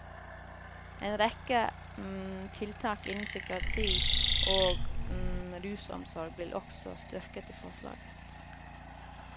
En rekke tiltak innen psykiatri og rusomsorg blir også styrket i forslaget.